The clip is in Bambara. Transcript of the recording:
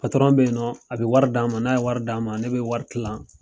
bɛ yen nɔ a bɛ wari d'an ma n'a ye wari d'an ma ne bɛ wari tilan.